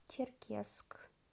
черкесск